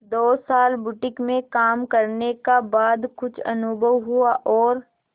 दो साल बुटीक में काम करने का बाद कुछ अनुभव हुआ और